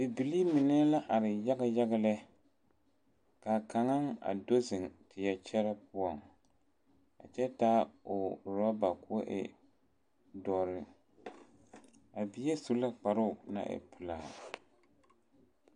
Bibilii mine la are yaga yaga lɛ, kaa kaŋa a do zeŋ teɛ kyerɛ poɔ, a kyɛ taa o ɔraber kɔɔ e doɔre a bie su la kparoo naŋ e pelaa